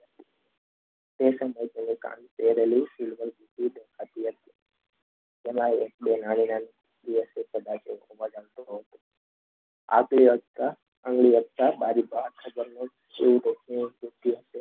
આથી વધતા